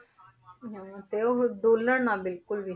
ਹਾਂ, ਤੇ ਉਹ ਡੋਲਣ ਨਾ ਬਿਲਕੁਲ ਵੀ,